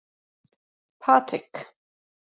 Patrik